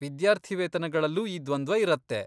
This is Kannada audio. ವಿದ್ಯಾರ್ಥಿವೇತನಗಳಲ್ಲೂ ಈ ದ್ವಂದ್ವ ಇರತ್ತೆ.